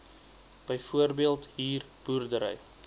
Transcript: byvoorbeeld huur boerdery